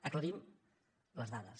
aclarim les dades